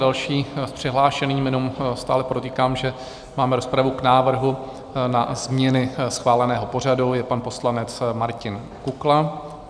Další přihlášený - jenom stále podotýkám, že máme rozpravu k návrhu na změny schváleného pořadu - je pan poslanec Martin Kukla.